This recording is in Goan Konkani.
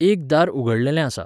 एक दार उगडलेंलें आसा